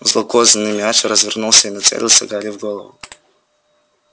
злокозненный мяч развернулся и нацелился гарри в голову